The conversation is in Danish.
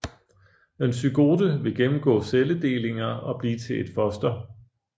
En zygote vil gennemgå celledelinger og blive til et foster